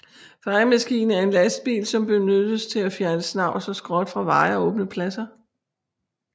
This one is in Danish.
Fejemaskine er en lastbil som benyttes til at fjerne snavs og skrot fra veje og åbne pladser